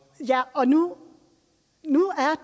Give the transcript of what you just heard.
og nu